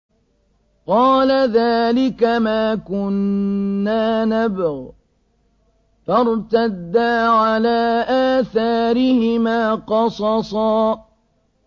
قَالَ ذَٰلِكَ مَا كُنَّا نَبْغِ ۚ فَارْتَدَّا عَلَىٰ آثَارِهِمَا قَصَصًا